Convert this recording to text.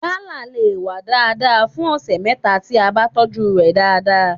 Gala le wá dáadáa fún ọ̀sẹ̀ mẹ́ta tí a bá tọ́jú ẹ̀ dáadáa.